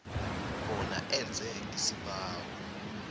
bona enze isibawo